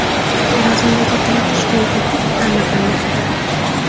Xorazmdagi qulab tushgan ko‘prik taʼmirlanmoqda.